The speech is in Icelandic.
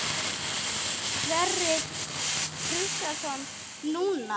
Sverrir Kristjánsson: Núna?